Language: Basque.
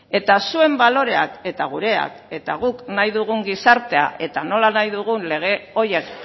eta zuen baloreak eta gureak eta guk nahi dugun gizartea eta nola nahi dugun lege horiek